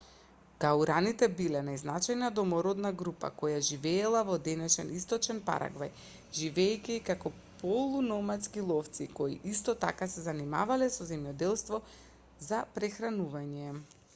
гуараните биле најзначајната домородна група која живеела во денешен источен парагвај живеејќи како полу-номадски ловци кои исто така се занимавале со земјоделство за прехранување